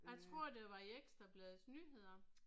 Jeg tror det var i Ekstrabladets nyheder